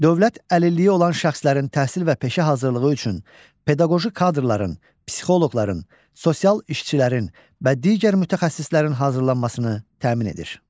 Dövlət əlilliyi olan şəxslərin təhsil və peşə hazırlığı üçün pedaqoji kadrların, psixoloqların, sosial işçilərin və digər mütəxəssislərin hazırlanmasını təmin edir.